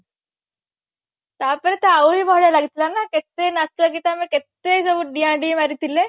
ତାପରେ ତ ଆଉରୀ ଭଲା ଲାଗୁଥିଲା ନା କେତେ ନାଚ ଗୀତ ଆମେ କେତେ ସବୁ ଡିଆଁ ଡେଇଁ ମାରିଥିଲେ